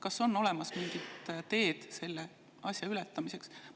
Kas on olemas mingit teed selle asja ületamiseks?